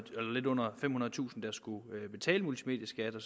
lidt under femhundredetusind der skulle betale multimedieskat og